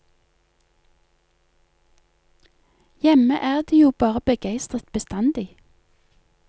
Hjemme er de jo bare begeistret bestandig.